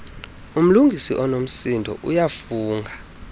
umlungisi unomsindo uyafunga